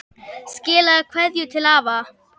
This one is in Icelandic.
Skilaðu kveðju til afa.